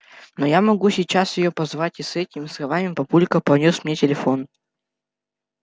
но я могу сейчас её позвать и с этими словами папулька понёс мне телефон